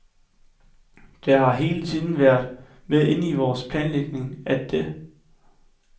Det har hele tiden været med inde i vores planlægning, at det